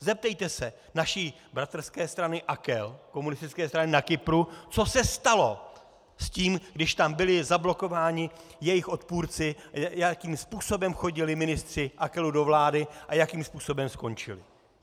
Zeptejte se naší bratrské strany AKEL, komunistické strany na Kypru, co se stalo s tím, když tam byli zablokováni jejich odpůrci, jakým způsobem chodili ministři AKELu do vlády a jakým způsobem skončili.